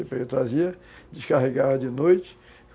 Ele trazia, descarregava de noite.